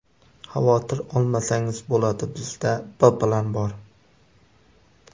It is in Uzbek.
Xavotir olmasangiz bo‘ladi, bizda B plan bor.